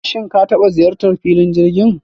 shim ka taba ziyartan filon jirgin?